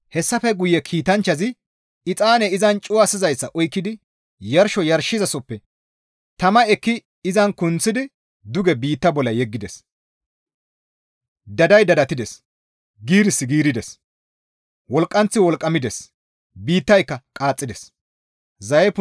Hessafe guye kiitanchchazi exaane izan cuwasizayssa oykkidi yarsho yarshizasozappe tama ekki izan kunththidi duge biitta bolla yeggides; daday dadattides; giirissi giirides; wolqqanththi wolqqamides; biittayka qaaxxides.